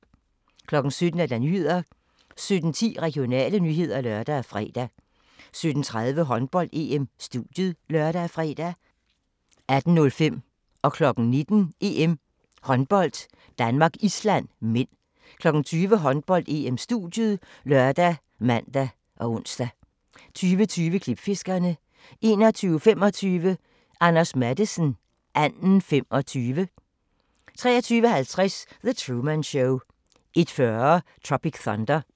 17:00: Nyhederne 17:10: Regionale nyheder (lør og fre) 17:30: Håndbold: EM - studiet (lør og fre) 18:05: Håndbold: EM - Danmark-Island (m) 19:00: Håndbold: EM - Danmark-Island (m) 20:00: Håndbold: EM - studiet ( lør, man, ons) 20:20: Klipfiskerne 21:25: Anders Matthesen - Anden 25 23:50: The Truman Show 01:40: Tropic Thunder